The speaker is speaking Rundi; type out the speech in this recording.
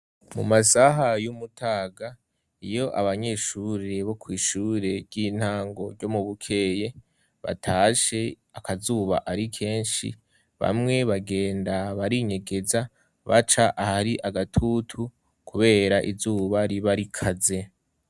Mu masaha y'umutaga iyo abanyeshure bo kw'ishure ry'intango ryo mu Bukeye batashe akazuba ari kenshi bamwe bagenda barinyegeza baca ahari agatutu kubera izuba riba rikaze.